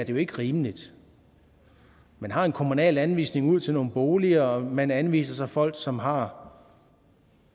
jo ikke rimeligt man har en kommunal anvisning ud til nogle boliger og man anviser så folk som har